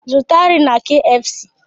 Zụta nri na kfc!